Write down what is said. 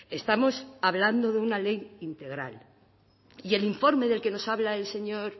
estamos hablando de una ley integral y el informe del que nos habla el señor